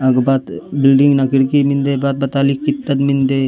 अग बात बिल्डिंग न किर्की मिन्दे बात बता लीक कितक मिन्दे।